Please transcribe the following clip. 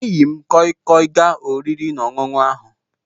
E yi m koi koi gaa oriri na ọṅụṅu ahu